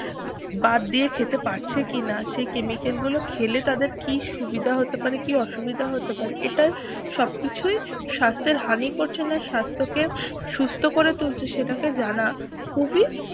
বাদ দিয়ে খেতে পারছে কিনা সে chemical গুলো খেলে তাদের কি সুবিধা হতে পারে কি অসুবিধা হতে আরে এটা সবকিছুই স্বাস্থ্যের হানি করছে না স্বাস্থ্য কে সুস্থ করে তুলছে সেটাকে জানা খুবই